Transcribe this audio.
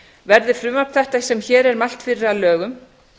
verði frumvarp þetta sem hér er mælt fyrir að lögum